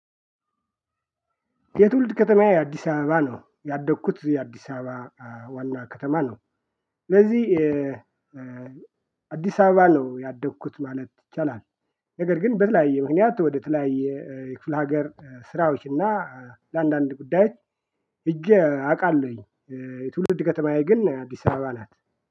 የትውልድ ከተማዬ የአዲስ አበባ ነው ያደግኩት የአዲስ አበባ ዋና ከተማ ነው። ስለዚህ አዲስ አበባ ነው ያደግኩት ማለት ይቻላል። ነገር ግን በተለያየ ምክንያት ወደ ተለያየ የክፍለ ሀገር ስራዎች እና ለአንዳንድ ጉዳይ እጄ አውቃለሁኝ። የትውልድ ከተማዬ ግን አዲስ አበባ ናት